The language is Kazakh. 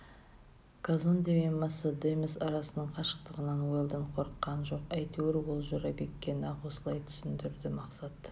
казонде мен моссамедес арасының қашықтығынан уэлдон қорыққан жоқ әйтеуір ол жорабекке нақ осылай түсіндірді мақсат